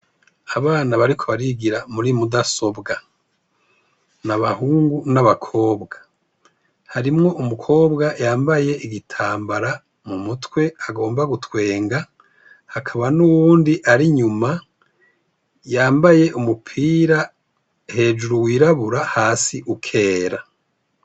Abana bariko barigira muri mudasobwa ,n' abahungu n'abakobwa harimwo umukobwa yambaye igitambara mu mutwe agomba gutwenga ,hakaba n'uwundi yambaye umupira hejuru wirabura hasi ukera.